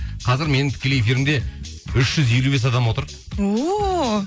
қазір менің тікелей эфирімде үш жүз елу бес адам отыр ооо